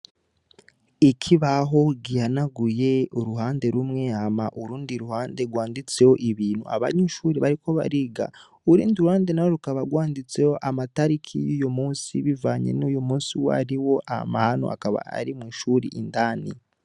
Ikibaho gihanaguye uruhande rumwe hama urundi ruhande rwanditseho ibintu, abanyeshuri bariko bariga, urundi ruhande na rwo rukaba rwanditseho amatariki y'uyu musi bivanye n'uyu musi uwariwo, aho hantu akaba ari mw'ishuri indani.